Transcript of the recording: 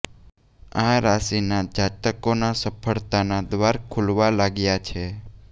આ રાશી ના જાતકો ના સફળતા ના દ્વાર ખુલવા લાગ્યા છે